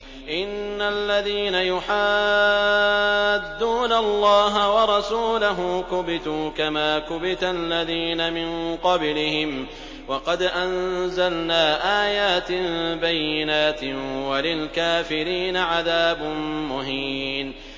إِنَّ الَّذِينَ يُحَادُّونَ اللَّهَ وَرَسُولَهُ كُبِتُوا كَمَا كُبِتَ الَّذِينَ مِن قَبْلِهِمْ ۚ وَقَدْ أَنزَلْنَا آيَاتٍ بَيِّنَاتٍ ۚ وَلِلْكَافِرِينَ عَذَابٌ مُّهِينٌ